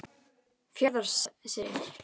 Fjarðarseli